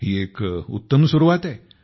ही एक उत्तम सुरवात आहे